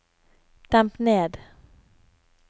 demp ned